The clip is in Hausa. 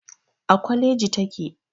A kwaleji take.